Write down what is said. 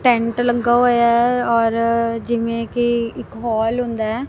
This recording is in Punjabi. ਟੈਂਟ ਲੱਗਾ ਹੋਇਆ ਔਰ ਜਿਵੇਂ ਕਿ ਇੱਕ ਹੋਲ ਹੁੰਦਾ ਹੈ।